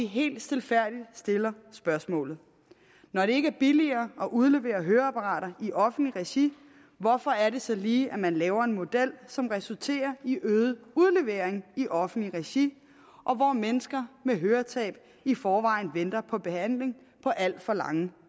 helt stilfærdigt stille spørgsmålet når det ikke er billigere at udlevere høreapparater i offentlig regi hvorfor er det så lige at man laver en model som resulterer i øget udlevering i offentligt regi hvor mennesker med høretab i forvejen venter på behandling på alt for lange